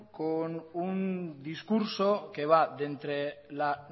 con un discurso que va de entre la